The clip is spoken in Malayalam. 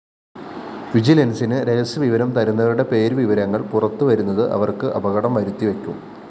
വിജിലന്‍സിന് രഹസ്യവിവരം തരുന്നവരുടെ പേരുവിവരങ്ങള്‍ പുറത്തുവരുന്നത് അവര്‍ക്ക് അപകടം വരുത്തിവയ്ക്കും